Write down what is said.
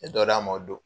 N ye dɔ d'a ma o don